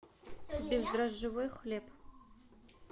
бездрожжевой хлеб